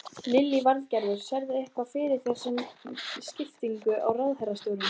Lillý Valgerður: Sérðu eitthvað fyrir þér með skiptingu á ráðherrastólum?